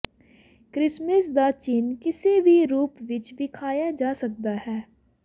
Christmas ਦਾ ਚਿੰਨ੍ਹ ਕਿਸੇ ਵੀ ਰੂਪ ਵਿੱਚ ਵਿਖਾਇਆ ਜਾ ਸਕਦਾ ਹੈ